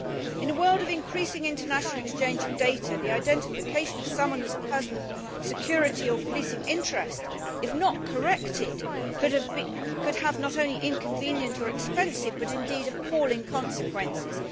In a world of increasing international exchange of data, the identification of someone as a person of security or policing interest, if not corrected, could have not only inconvenient or expensive but indeed appalling consequences.